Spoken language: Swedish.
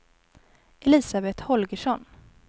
Elisabet Holgersson